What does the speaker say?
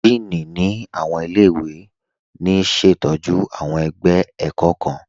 Dííní ni awọn ilẹ̀-iwe ní ṣetọju awọn ẹgbẹ ẹ̀kọ̀ kan.